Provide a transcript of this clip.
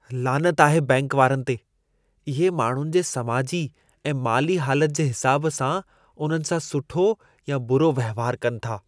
लानत आहे बैंक वारनि ते! इहे माण्हुनि जे समाजी ऐं माली हालत जे हिसाब सां उन्हनि सां सुठो या बुरो वहिंवार कनि था।